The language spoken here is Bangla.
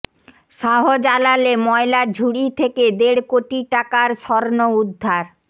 শাহজালালে ময়লার ঝুড়ি থেকে দেড় কোটি টাকার স্বর্ণ উদ্ধার